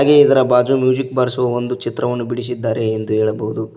ಹಾಗೆ ಇದರ ಬಾಜು ಒಂದು ಮ್ಯೂಸಿಕ್ ಬಾರಿಸುವ ಒಂದು ಚಿತ್ರವನ್ನು ಬಿಡಿಸಿದ್ದಾರೆ ಎಂದು ಹೇಳಬಹುದು.